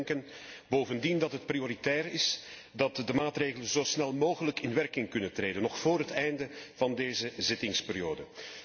Wij denken bovendien dat het prioritair is dat de maatregelen zo snel mogelijk in werking kunnen treden, nog vóór het einde van deze zittingsperiode.